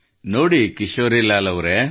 ನೋಡಿ ಕಿಶೋರಿಲಾಲ್ ಅವರೇ